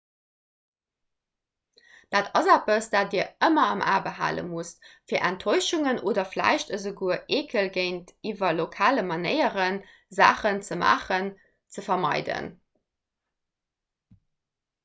dat ass eppes dat dir ëmmer am a behale musst fir enttäuschungen oder vläicht esouguer eekel géintiwwer lokale manéieren saachen ze maachen ze vermeiden